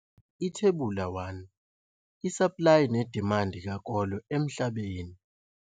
Ithebula 1- Isaplayi nedimandi kakolo emhlabeni.